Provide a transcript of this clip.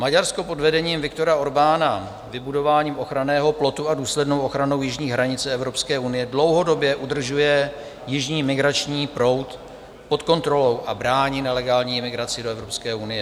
Maďarsko pod vedením Viktora Orbána vybudováním ochranného plotu a důslednou ochranou jižní hranice Evropské unie dlouhodobě udržuje jižní migrační proud pod kontrolou a brání nelegální imigraci do Evropské unie.